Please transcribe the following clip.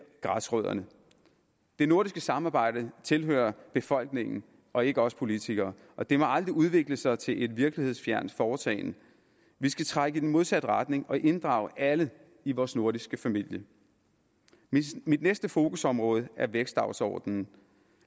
græsrødderne det nordiske samarbejde tilhører befolkningen og ikke os politikere og det må aldrig udvikle sig til et virkelighedsfjernt foretagende vi skal trække i den modsatte retning og inddrage alle i vores nordiske familie mit næste fokusområde er vækstdagsordenen